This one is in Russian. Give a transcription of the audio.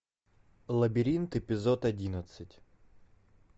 лабиринт эпизод одиннадцать